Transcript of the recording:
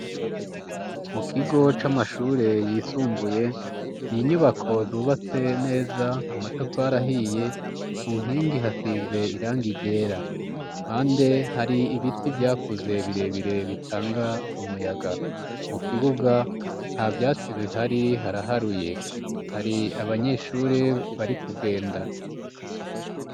Mukigo c'amashure yisumbuye n'inyubako zubatse neza amatafari ahiye kunkingi hasize irangi ryera, kumpande har'ibiti vyakuze birebire bitanga umuyaga. Mukibuga ntavyatsi bihari haraharuye, hari abanyeshure bari kugenda.